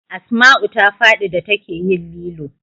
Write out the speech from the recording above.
Asmau ta fadi da ta ke yin lilo